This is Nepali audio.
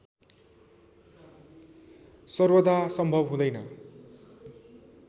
सर्वदा सम्भव हुँदैन